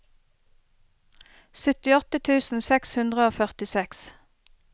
syttiåtte tusen seks hundre og førtiseks